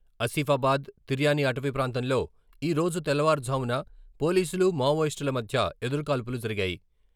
ఆసిఫాబాద్ తిర్యానీ అటవీ ప్రాంతంలో ఈ రోజు తెల్లవారుజామున పోలీసులు, మావోయిస్టుల మధ్య ఎదురుకాల్పులు జరిగాయి.